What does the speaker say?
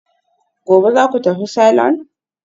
Gobe ​​zaku tafi salon?